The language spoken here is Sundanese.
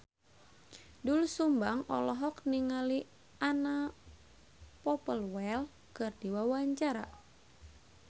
Doel Sumbang olohok ningali Anna Popplewell keur diwawancara